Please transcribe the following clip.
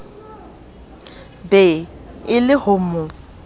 be e le ho mo